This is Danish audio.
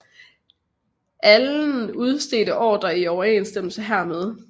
Allen udstedte ordrer i overensstemmelse hermed